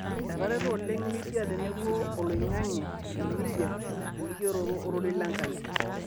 Etareto oleng' media tenebo oloing'ang'e le media elikioroto o rorei Lenkai